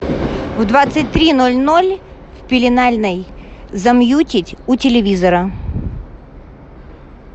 в двадцать три ноль ноль в пеленальной замьютить у телевизора